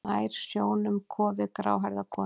Nær sjónum kofi gráhærðrar konu.